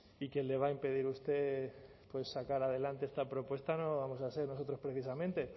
y que le va a impedir a usted pues sacar adelante esta propuesta no vamos a ser nosotros precisamente